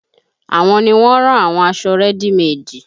Àwọn ni wọ́n ń rán àwọn aṣọ rẹ́dì meèdì